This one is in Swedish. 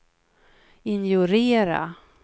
ignorera